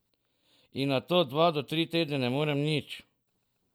In nato dva do tri tedne ne morem nič.